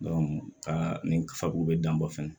ka ni fako bɛ dan bɔ fɛnɛ